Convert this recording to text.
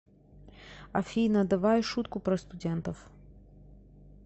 афина давай шутку про студентов